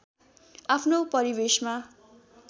आफ्नो परिवेशमा